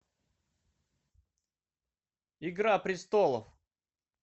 игра престолов